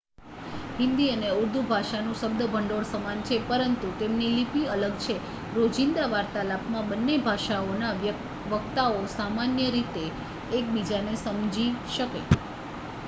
હિન્દી અને ઉર્દૂ ભાષાનું શબ્દભંડોળ સમાન છે પરંતુ તેમની લિપિ અલગ છે રોજિંદા વાર્તાલાપમાં બંને ભાષાઓના વક્તાઓ સામાન્ય રીતે એકબીજાને સમજી શકે